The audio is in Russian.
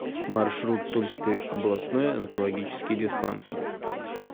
маршрут тульский областной онкологический диспансер